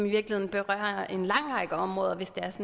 virkeligheden berører en lang række områder hvis det er